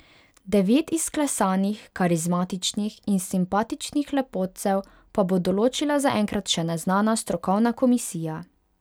Devet izklesanih, karizmatičnih in simpatičnih lepotcev pa bo določila zaenkrat še neznana strokovna komisija.